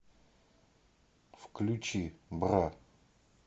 включи бра